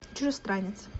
чужестранец